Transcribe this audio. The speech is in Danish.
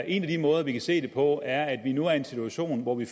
en af de måder vi kan se det på er at vi nu er i en situation hvor vi